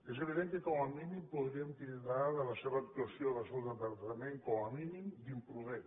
és evident que com a mínim podríem titllar la seva actuació del seu departament com a mínim d’imprudent